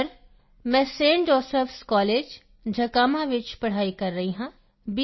sir ਮੈਂ ST josephਸ ਕਾਲੇਜJakhama ਆਟੋਨੋਮਸ ਵਿੱਚ ਪੜ੍ਹਾਈ ਕਰ ਰਿਹਾ ਹਾਂ b